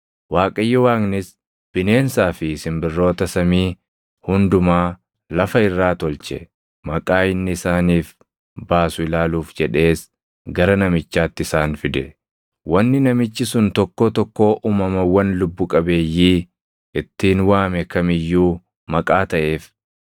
Waaqayyo Waaqnis bineensaa fi simbirroota samii hundumaa lafa irraa tolche. Maqaa inni isaaniif baasu ilaaluuf jedhees gara namichaatti isaan fide; wanni namichi sun tokkoo tokkoo uumamawwan lubbu qabeeyyii ittiin waame kam iyyuu maqaa taʼeef.